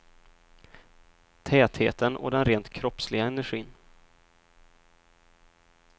Tätheten och den rent kroppsliga energin.